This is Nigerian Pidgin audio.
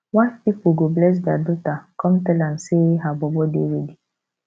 wife pipol go bless dia daughter con tell am say her bobo dey ready